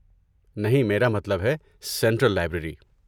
نہیں، میرا مطلب ہے سنٹرل لائبریری۔